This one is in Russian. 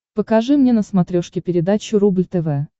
покажи мне на смотрешке передачу рубль тв